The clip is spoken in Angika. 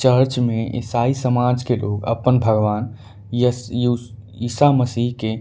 चर्च में ईसाई समाज के लोग अप्पन भगवान यश यूश ईसा मसि के --